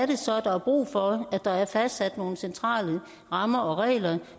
det så er der er brug for at der er fastsat nogle centrale rammer og regler